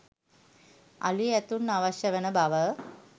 අලි ඇතුන් අවශ්‍ය වන බව